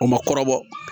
U ma kɔrɔbɔ